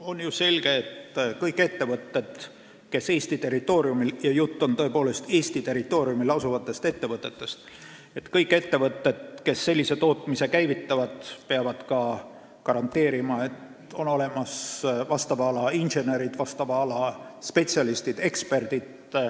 On ju selge, et kõik ettevõtted, kes käivitavad Eesti territooriumil – ja jutt on tõepoolest Eesti territooriumil asuvatest ettevõtetest – sellise tootmise, peavad ka garanteerima, et neil on olemas vastava ala insenerid, vastava ala spetsialistid ja eksperdid.